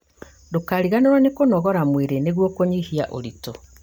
Ndũkariganĩrwo nĩ kũnogora mwĩrĩ nĩguo kũnyihia ũritũ